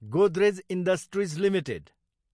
Godrej industries Ltd